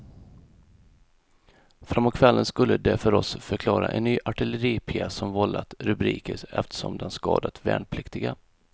Framåt kvällen skulle de för oss förklara en ny artilleripjäs som vållat rubriker eftersom den skadat värnpliktiga.